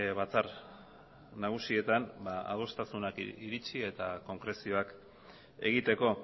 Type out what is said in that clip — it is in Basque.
batzar nagusietan adostasunak iritsi eta konkrezioak egiteko